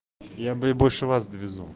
я бля больше вас довезу